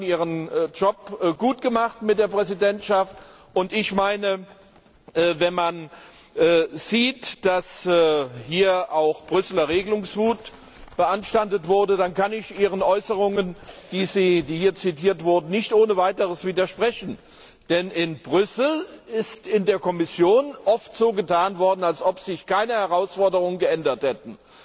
Sie haben Ihren Job gut gemacht mit der Präsidentschaft, und wenn man beachtet, dass hier auch Brüsseler Regelungswut beanstandet wurde, dann kann ich Ihren Äußerungen, die hier zitiert wurden, nicht ohne weiteres widersprechen, denn in Brüssel wurde in der Kommission oft so getan, als ob sich keine Herausforderungen geändert hätten.